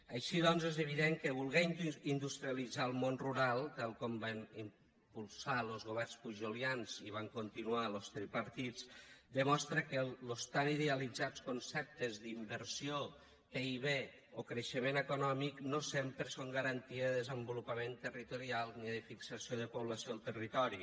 així doncs és evident que voler industrialitzar el món rural tal com van impulsar los governs pujolians i van continuar los tripartits demostra que los tan idealitzats conceptes d’inversió pib o creixement econòmic no sempre són garantia de desenvolupament territorial ni de fixació de població al territori